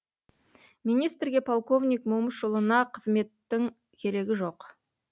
министрге полковник момышұлына қызметтің керегі жоқ